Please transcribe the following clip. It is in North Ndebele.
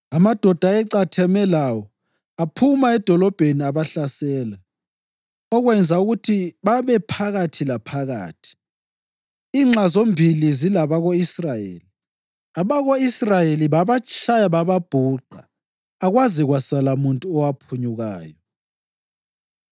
Amadoda ayecatheme lawo aphuma edolobheni abahlasela, okwenza ukuthi babe phakathi laphakathi, inxa zombili zilabako-Israyeli. Abako-Israyeli babatshaya bababhuqa akwaze kwasala muntu owaphunyukayo.